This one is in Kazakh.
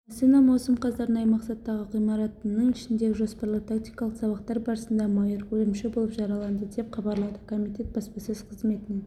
астана маусым қаз арнайы мақсаттағы ғимаратының ішіндегі жоспарлы тактикалық сабақтар барысында майор өлімші болып жараланды деп хабарлады комитет баспасөз қызметінен